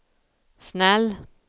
snäll